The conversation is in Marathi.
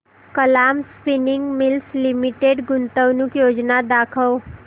कलाम स्पिनिंग मिल्स लिमिटेड गुंतवणूक योजना दाखव